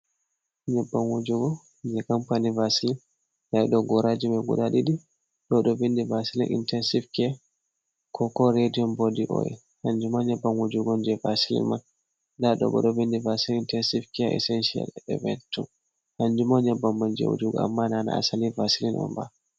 nyebbam wujugo jei kampani vasilin, ɗiɗo goraji man guda ɗiɗi ɗo ɗon windi vasilin intensive care ko bo radion body oyel, kanjum ma nyebbam wujugo on jei vasilin man. Nda ɗo bo ɗon windi vasilin intensive care essential eventu. Kanjum ma nyebbam man jei wujugo amma na asli vasilin on ba.